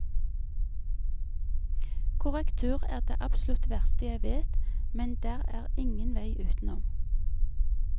Korrektur er det absolutt verste jeg vet, men der er ingen vei utenom.